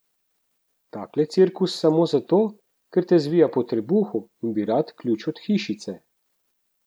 Takle cirkus samo zato, ker te zvija po trebuhu in bi rad ključ od hišice.